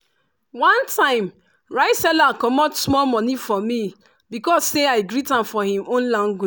one time rice seller comot small money for me because say i greet am for hin own language